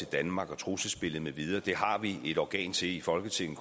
danmark og trusselsbilledet med videre det har vi et organ til i folketinget